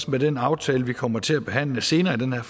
med den aftale vi kommer til at behandle senere i den her